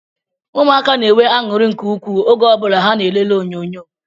Ụmụaka na-enwe anuri nke ukwuu oge o bula ha na elele onyonyo